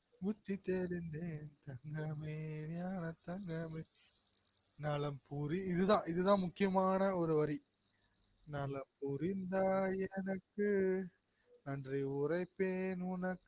புத்தி தெளிந்தேன் தங்கமே ஞானத்தங்கமே நலம் புரி இதுதா இதுதா முக்கியமான ஒரு வரி நலம் புரிந்தாய் எனக்கு நன்றி உரைப்பேன் உனக்